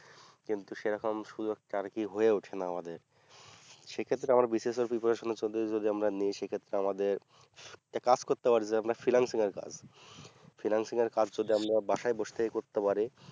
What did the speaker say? কিন্তু সেরকম সুযোগটা আর কি হয়ে উঠে না আমাদের সে ক্ষেত্রে আমরা BCSpreparation যদি আমরা নিই সে ক্ষেত্রে আমাদের একটা কাজ করতে পারবে আপনার financial এর কাজ financial এর কাজ যদি আমরা বাসায় বসে থেকে করতে পারি